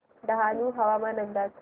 डहाणू हवामान अंदाज